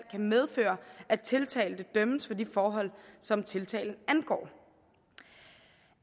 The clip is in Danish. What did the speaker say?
medføre at tiltalte dømmes for de forhold som tiltalen angår